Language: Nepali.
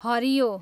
हरियो